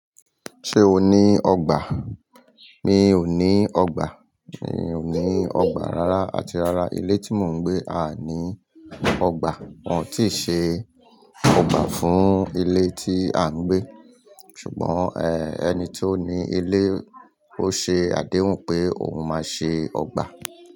Ṣé o ní ọgbà? Mi ò ní ọgbà. Mi ò ní ọgbà rárá àti rárá ilé tí mò ń gbé à ní ọgbà. Wọ́n ò tí ì ṣe ọgbà fún ilé tí à ń gbé. Ṣùgbọ́n ẹ́ ẹni tó ní ilé ó ṣe àdéhùn pé òun máa ṣe ọgbà.